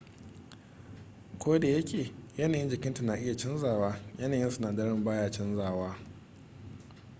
kodayake yanayin jikinta na iya canzawa yanayin sinadaran ba ya canja wa